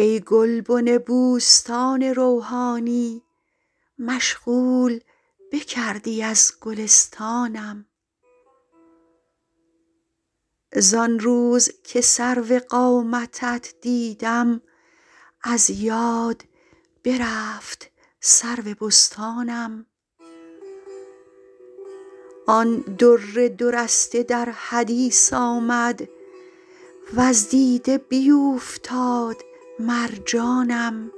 ای گلبن بوستان روحانی مشغول بکردی از گلستانم زان روز که سرو قامتت دیدم از یاد برفت سرو بستانم آن در دو رسته در حدیث آمد وز دیده بیوفتاد مرجانم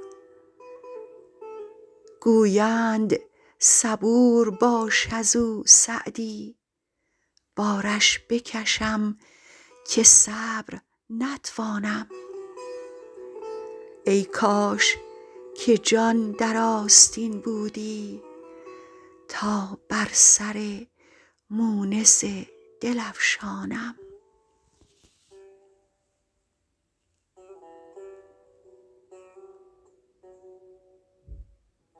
گویند صبور باش از او سعدی بارش بکشم که صبر نتوانم ای کاش که جان در آستین بودی تا بر سر مونس دل افشانم